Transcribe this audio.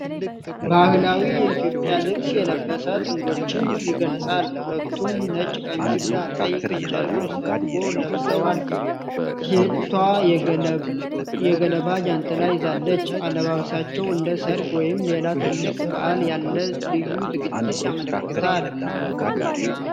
ባህላዊ የኢትዮጵያ ልብስ የለበሰ ጥንዶችን ይገልጻል። ሁለቱም ነጭ ቀሚስና ቀይ የጨርቅ ስርጎ ለብሰዋል ። ሴቷ የገለባ ጃንጥላ ይዛለች ። አለባበሳቸው እንደ ሰርግ ወይም ሌላ ትልቅ በዓል ያለ ልዩ ዝግጅትን ያመለክታል።